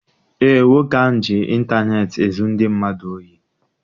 Eé, nwoke ahụ ji intaneeti ezu ndị mmadụ ohi.